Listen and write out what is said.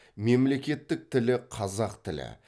мемлекеттік тілі қазақ тілі